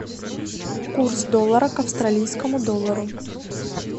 курс доллара к австралийскому доллару